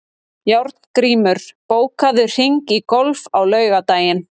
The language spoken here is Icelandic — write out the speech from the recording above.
Járngrímur, bókaðu hring í golf á laugardaginn.